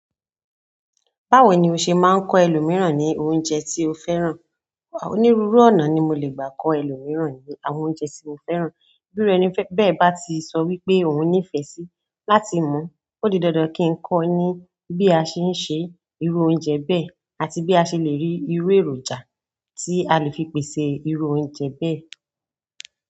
Báwo ni o ṣe máa ń kọ́ ẹlòmíràn ní oúnjẹ tí o fẹ́ràn? Onírúurú ọ̀nà ni mo le gbà kọ́ ẹlòmíràn ní àwọn oúnjẹ tí mo fẹ́ràn. Bí ọ̀rẹ́ mi bẹ́ẹ̀ bá ti sọ wípé òhun nífẹ̀ẹ́ síi láti mọ̀, ó di dandan kí n kọ́ ọ ní bí a ṣe ń ṣe irú oúnjẹ bẹ́ẹ̀ àti bí a ṣe le rí irú èròjà tí a lè fi pèsè irú oúnjẹ bẹ́ẹ̀.